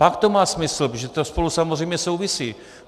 Pak to má smysl, protože to spolu samozřejmě souvisí.